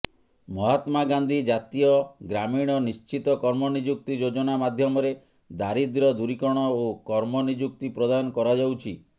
ମହାତ୍ମାଗାନ୍ଧୀ ଜାତୀୟ ଗ୍ରାମୀଣ ନିଶ୍ଚିତ କର୍ମନିଯୁକ୍ତି ଯୋଜନା ମାଧ୍ୟମରେ ଦାରିଦ୍ର୍ୟ ଦୂରୀକରଣ ଓ କର୍ମନିଯୁକ୍ତି ପ୍ରଦାନ କରାଯାଉଛି